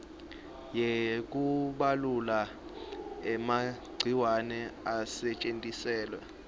yekubulala emagciwane asetjentiselwa